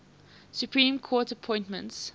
supreme court appointments